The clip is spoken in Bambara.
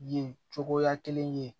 Yen cogoya kelen ye